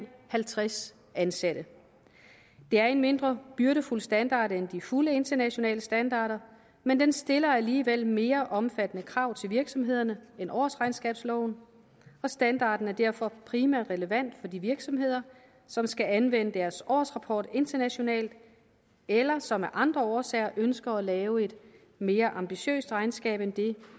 halvtreds ansatte det er en mindre byrdefuld standard end de fulde internationale standarder men den stiller alligevel mere omfattende krav til virksomhederne end årsregnskabsloven og standarden er derfor primært relevant for de virksomheder som skal anvende deres årsrapport internationalt eller som af andre årsager ønsker at lave et mere ambitiøst regnskab end det